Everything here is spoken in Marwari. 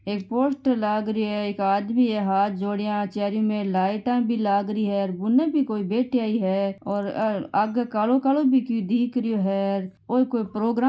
एक पोस्टर लाग रहियो है एक आदमी है हाथ जोड़ियां चारो मेर लाईटा भी लाग रही है बून भी कोई बैठया ही है और अ आगे कालो कालो भी की दिख रियो है र ओ ई कोई प्रोग्राम --